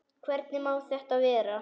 Hvernig má þetta vera?